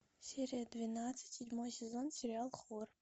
серия двенадцать седьмой сезон сериал хор